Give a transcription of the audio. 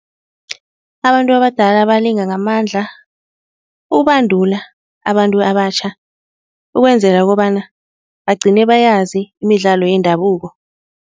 Abantu abadala balinga ngamandla ukubandula abantu abatjha, ukwenzela kobana bagcine bayazi imidlalo yendabuko.